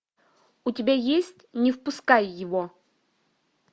у тебя есть не впускай его